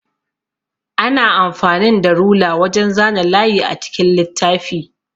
Ana amfanin da rula wajan zana layi a cikin littafi.